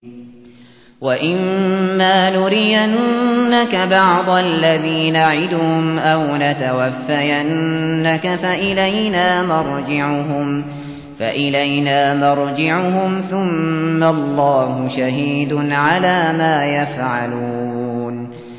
وَإِمَّا نُرِيَنَّكَ بَعْضَ الَّذِي نَعِدُهُمْ أَوْ نَتَوَفَّيَنَّكَ فَإِلَيْنَا مَرْجِعُهُمْ ثُمَّ اللَّهُ شَهِيدٌ عَلَىٰ مَا يَفْعَلُونَ